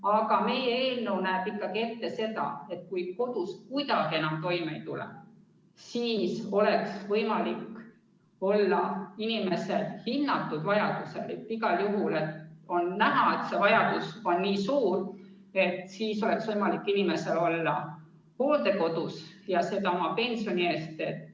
Aga meie eelnõu näeb ikkagi ette, et kui inimene kodus kuidagi enam toime ei tule, siis oleks tal võimalik hinnatud vajaduse korral – kui on näha, et see vajadus on suur – võimalik olla hooldekodus, ja seda oma pensioni eest.